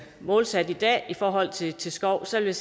målsat i dag i forhold til til skov så vil